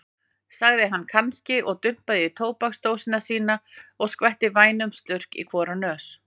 sagði hann kannski og dumpaði í tóbaksdósina sína og skellti vænum slurk í hvora nös.